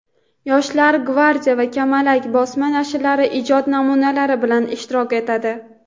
"Yosh gvardiya" va "Kamalak" bosma nashrlarida ijod namunalari bilan ishtirok etadi.